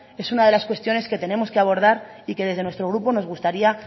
es una de las cuestiones que tenemos que abordar y que desde nuestro grupo nos gustaría